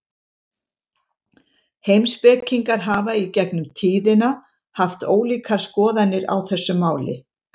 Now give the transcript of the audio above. Heimspekingar hafa í gegnum tíðina haft ólíkar skoðanir á þessu máli.